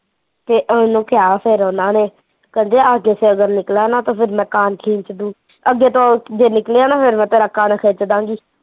ਤੇ ਓਹਨੂੰ ਕਿਹਾ ਫਿਰ ਓਹਨਾਂ ਨੇ, ਕਹਿੰਦੇ ਆਗੇ ਸੇ ਅਗਰ ਨਿਕਲਾ ਨਾ ਤੋ ਫਿਰ ਮੈ ਕਾਨ ਖੀਚ ਦੂ, ਅੱਗੇ ਤੋਂ ਜੇ ਨਿਕਲਿਆ ਨਾ ਫਿਰ ਮੈਂ ਤੇਰਾ ਕੰਨ ਖਿੱਚਦਾ ਗੀ